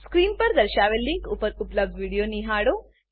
screen પર દર્શાવેલ link પર ઉપલબ્ધ વિડીયો નિહાળો